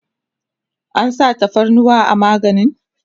an sa tafarnuwa a maganin?